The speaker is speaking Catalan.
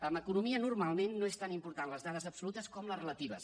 en economia normalment no són tan importants les dades absolutes com les relatives